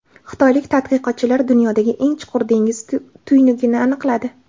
Xitoylik tadqiqotchilar dunyodagi eng chuqur dengiz tuynugini aniqladi.